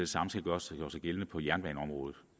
samme skal gøre sig gældende på jernbaneområdet